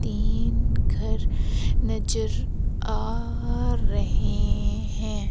तीन घर नजर आ रहे हैं।